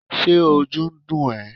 ṣe ojú dún e?